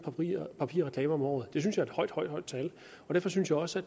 papirreklamer om året jeg synes det er et højt højt tal jeg synes også